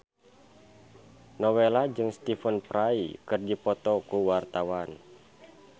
Nowela jeung Stephen Fry keur dipoto ku wartawan